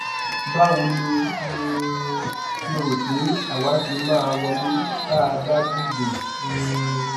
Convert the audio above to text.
báwo lo um ṣe rò pé àwa ṣe máa wọlé tá a bá dìbò um